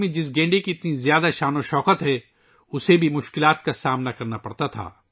اس گینڈے کو ، جس کی آسام کی ثقافت میں ایک عظیم تاریخ ہے ، مشکلات کا سامنا کرنا پڑا تھا